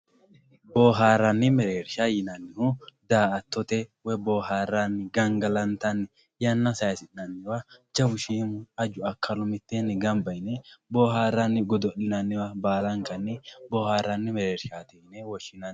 Booharani mereersha yinanihu daa`atote woyi booharani gangalantani yanna sayisinaniwa jawu shiimu aju akalu miteeni ganba yine booharani godolinaniwa baalawa booharani merershati yine woshinani.